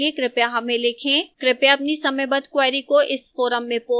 कृपया अपनी समयबद्ध queries को इस forum में post करें